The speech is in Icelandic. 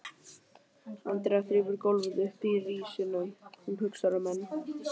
Andrea þrífur gólfið uppi í risinu, hún hugsar um menn